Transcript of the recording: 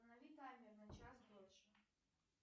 установи таймер на час дольше